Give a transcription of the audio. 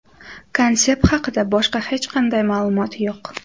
Konsept haqida boshqa hech qanday ma’lumot yo‘q.